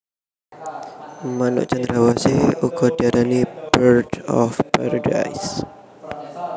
Manuk Cendrawasih uga diarani Bird of Paradise